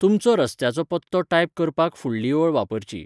तुमचो रस्त्याचो पत्तो टायप करपाक फुडली ओळ वापरची.